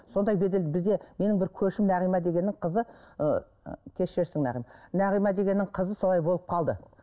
сондай бедел бізде менің бір көршім нағима дегеннің қызы ы кешірерсің нағым нағима дегеннің қызы солай болып қалды